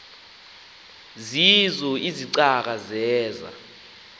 zeezo izicaka zeza